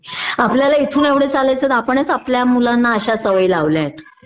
आपल्याला इथून एवढ चालायचं आपणच आपल्या मुलांना अश्या सवयी लावल्यात